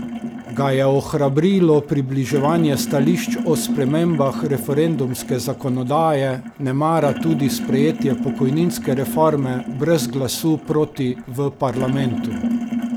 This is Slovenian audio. Ga je ohrabrilo približevanje stališč o spremembah referendumske zakonodaje, nemara tudi sprejetje pokojninske reforme brez glasu proti v parlamentu?